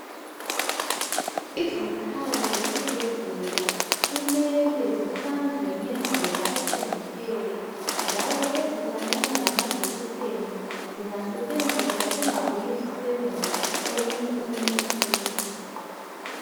izikhali zesibhedlela kumele zihlanzwe ngendlela eqondileyo njalo ezifanana lamajekiseni zingasetshenziswa zingabuyi zisebenze komunye umuntu futhi